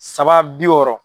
Saba bi wɔɔrɔ.